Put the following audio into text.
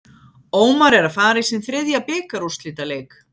Ómar er að fara í sinn þriðja bikarúrslitaleik.